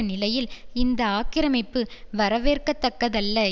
நிலையில் இந்த ஆக்கிரமிப்பு வரவேற்கத்தக்கதல்ல